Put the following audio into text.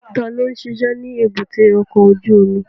Ta ló ń ṣiṣẹ́ ní èbúté ọkọ̀ ojú omi?